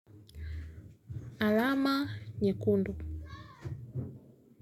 Alama, nyekundu.